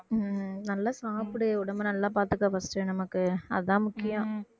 உம் நல்லா சாப்பிடு உடம்பை நல்லா பாத்துக்க first நமக்கு அதான் முக்கியம்